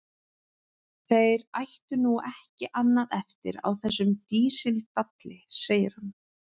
Þeir ættu nú ekki annað eftir á þessum dísildalli, segir hann.